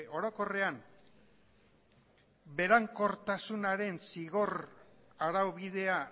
orokorrean berankortasunaren zigor araubidea